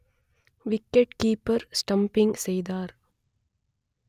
wicked keeper stumping செய்தார்